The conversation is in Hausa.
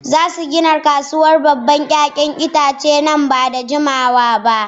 Za su gina babbar kasuwar 'ya'yan itace nan ba da jimawa ba.